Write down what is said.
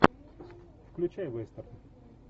включай вестерн